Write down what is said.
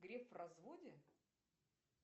греф в разводе